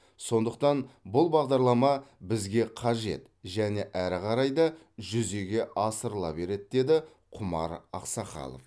сондықтан бұл бағдарлама бізге қажет және әрі қарай да жүзеге асырыла береді деді құмар ақсақалов